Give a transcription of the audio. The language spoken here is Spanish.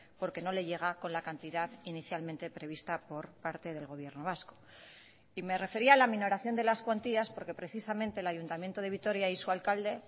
porque no le llega con la cantidad inicialmente prevista por parte del gobierno vasco y me refería a la minoración de las cuantías porque precisamente el ayuntamiento de vitoria y su alcalde